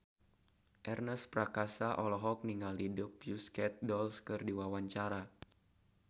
Ernest Prakasa olohok ningali The Pussycat Dolls keur diwawancara